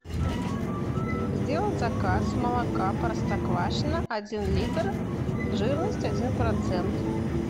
сделать заказ молока простоквашино один литр жирность один процент